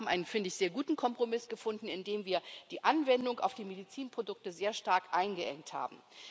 Aber wir haben einen finde ich sehr guten Kompromiss gefunden, in dem wir die Anwendung auf die Medizinprodukte sehr stark eingeengt haben.